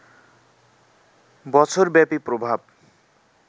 বছরব্যাপী প্রভাব